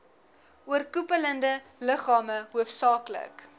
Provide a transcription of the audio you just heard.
oorkoepelende liggame hoofsaaklik